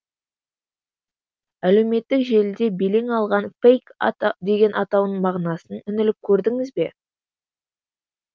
әлеуметтік желіде белең алған фейк деген атауының мағынасын үңіліп көрдіңіз бе